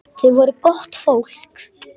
Þau voru gott fólk.